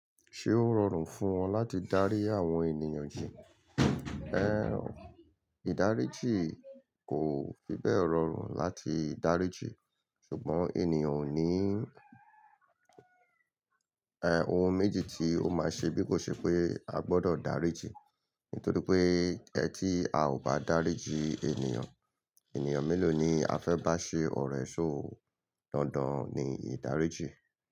Ṣé ó rọrùn fún wọn láti dárí àwọn ènìyàn jí? Ẹ́, ìdáríjì kò fi bẹ́ẹ̀ rọrùn láti dáríjì, ṣùgbọ́n ènìyàn ò ní, ẹ́ ohun méjì tí ó máa ṣe bí kò ṣe pé a gbọdọ̀ dáríjì. Nítorí pé ẹ́ tí a ò bá dáríjì ènìyàn, ènìyàn mélòó ni a fẹ́ bá ṣe ọ̀rẹ́, so dandan ni ìdáríjì.